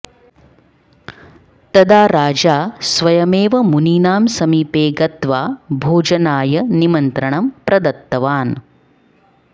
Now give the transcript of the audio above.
तदा राजा स्वयमेव मुनीनां समीपे गत्वा भोजनाय निमन्त्रणं प्रदत्तवान्